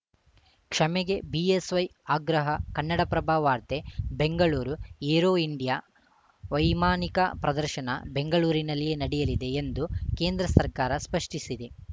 ಕ್ಷಮೆಗೆ BSY ಆಗ್ರಹ ಕನ್ನಡಪ್ರಭ ವಾರ್ತೆ Bengaluru Aero India ವೈಮಾನಿಕ ಪ್ರದರ್ಶನ ಬೆಂಗಳೂರಿನಲ್ಲಿಯೇ ನಡೆಯಲಿದೆ ಎಂದು ಕೇಂದ್ರ ಸರ್ಕಾರ ಸ್ಪಷ್ಟಪಡಿಸಿದೆ